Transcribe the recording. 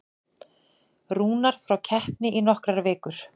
Rúnar frá keppni í nokkrar vikur